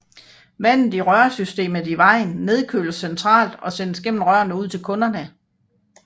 Vandet i rørsystemet i vejen nedkøles centralt og sendes gennem rør ud til kunderne